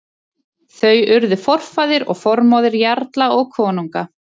Þau urðu forfaðir og formóðir jarla og konunga.